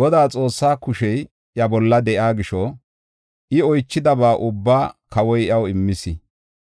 Godaa, Xoossaa kushey iya bolla de7iya gisho, I oychidaba ubbaa kawoy iyaw immis.